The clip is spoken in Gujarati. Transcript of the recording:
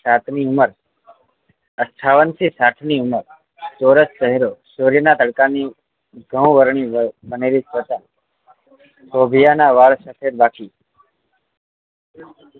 સાંઠ ની ઉંમર અઠ્ઠાવન થી સાંઠ ની ઉંમર ચોરસ ચેહરો સૂર્ય નાં તડકાની ની ઘણું વરણું ની બનેલી ત્વચા શોભિયા નાં વાળ સાથે બાકી